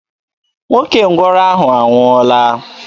Nwoke ngwọrọ ahụ anwụọọla.